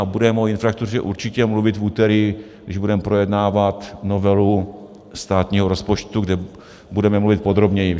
A budeme o infrastruktuře určitě mluvit v úterý, když budeme projednávat novelu státního rozpočtu, kde budeme mluvit podrobněji.